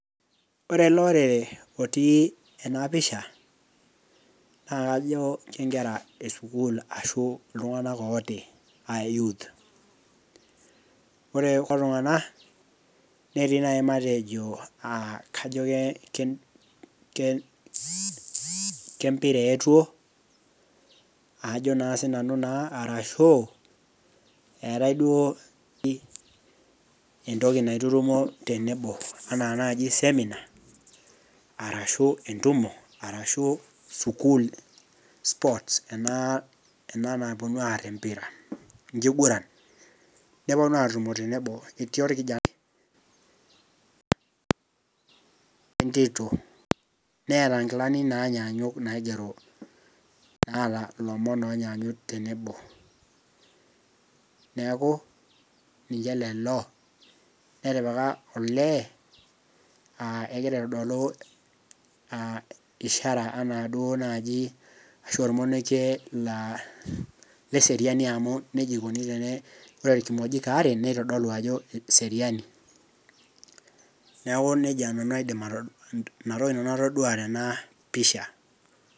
Ore ele orere otii ena pisha naa kajo kenkera esukuul ashu iltung'anak ooti aa youth ore kulo tung'anak netii naaji matejo uh kajo ke kee kempira eetuo ajo naa sinanu naa arashu eetae duo pi entoki naitutumo tenebo enaa naaji seminar arashu entumo arashu sukuul sports ena naponu arr empira enkiguran neponu atumo tenebo etii orkijanaiwentito neeta inkilani naanyanyuk naigero naata ilomon onyaanyuk tenebo neeku ninche lelo netipika olee uh egira aitodolu uh ishara anaa duo naaji ashu ormonokie laa leseriani amu nejia ikoni tene ore irkimojik aare neitodolu ajo eseriani neeku nejia nanu aidim ato inatoki nanu atodua tena pisha.